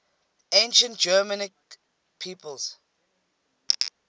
ancient germanic peoples